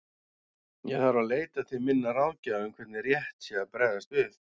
Ég þarf að leita til minna ráðgjafa um hvernig rétt sé að bregðast við.